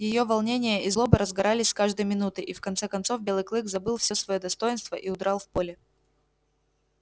её волнение и злоба разгорались с каждой минутой и в конце концов белый клык забыл всё своё достоинство и удрал в поле